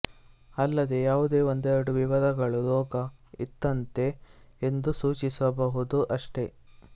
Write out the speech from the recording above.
ಅಲ್ಲದೆ ಯಾವುದೋ ಒಂದೆರಡು ವಿವರಗಳು ರೋಗ ಇಂಥದ್ದೇ ಎಂದು ಸೂಚಿಸಬಹುದು ಅಷ್ಟೆ